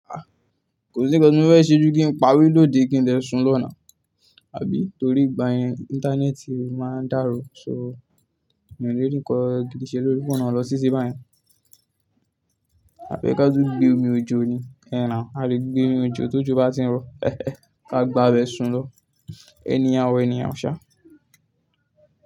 Ah! Kò sí nǹkan tí mo fẹ́ ṣe ju kí n pa window de kí n dẹ sùn lọ́ nà, àbí? Torí ìgbà yẹn Íńtánẹ́ẹ̀tì máa dàrú. So, mi ò lè rí ńǹkan gidi ṣe lórí fóònù lọ titi báyẹn. Àbí ẹ ká tu gbé omi òjo ni, ẹhn na, a lè gbé omi òjo tójo bá ti ń rọ. Káà gba abẹ sùn lọ. Anyhow anyhow ṣá.